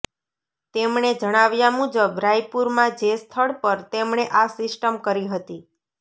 તેમણે જણાવ્યા મુજબ રાયપુરમાં જે સ્થળ પર તેમણે આ સિસ્ટમ કરી હતી